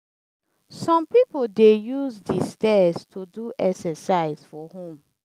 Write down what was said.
some people dey use de stairs to do exercise for home.